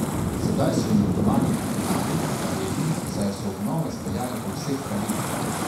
Sedaj so jim v Romani kafenavi hvaležni, saj so obnovo izpeljali po vseh pravilih.